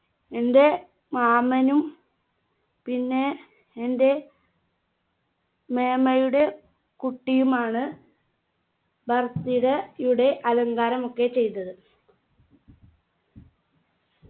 എന്റെ മാമനും പിന്നെ എന്റെ മേമയുടെ കുട്ടിയുമാണ് birthday യുടെ അലങ്കാരമൊക്കെ ചെയ്തത്